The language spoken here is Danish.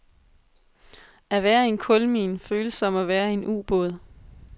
At være i en kulmine føles som at være i en ubåd.